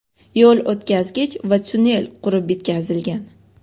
yo‘l o‘tkazgich va tonnel qurib bitkazilgan.